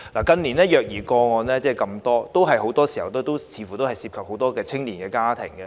近年的虐兒個案，很多時候都涉及青年家庭。